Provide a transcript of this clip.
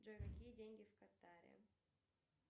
джой какие деньги в катаре